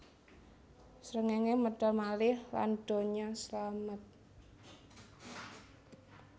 Srengéngé medal malih lan donya slamet